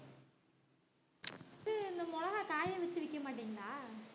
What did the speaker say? ஹம் இந்த மொளகா காய வச்சு விக்க மாட்டீங்களா